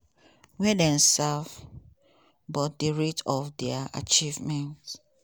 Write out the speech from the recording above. e tok say "di test of american presidents no be di um number of years